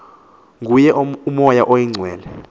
nguye umoya oyingcwele